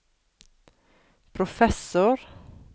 professor